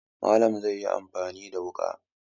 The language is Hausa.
Malam zai yi amfani da wuƙa.